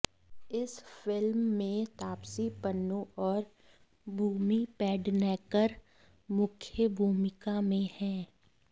इस फिल्म में तापसी पन्नू और भूमि पेडनेकर मुख्य भूमिका में हैं